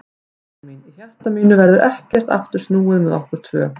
Ástin mín, í hjarta mínu verður ekkert aftur snúið með okkur tvö.